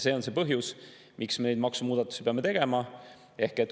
See on see põhjus, miks me neid maksumuudatusi peame tegema.